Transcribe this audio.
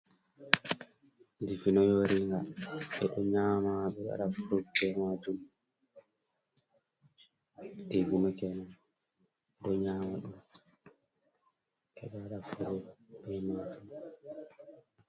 Dibino yoringa ɓe ɗo nyama ɓe ɗo waɗa frut be majum, dibino kenan, ɓe ɗo nyama ɗum ɓeɗo waɗa frut be majum.